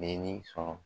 Ni sɔn